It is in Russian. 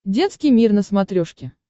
детский мир на смотрешке